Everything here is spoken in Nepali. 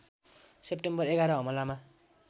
सेप्टेम्बर ११ हमलामा